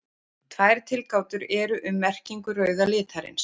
tvær tilgátur eru um merkingu rauða litarins